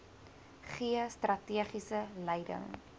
gee strategiese leiding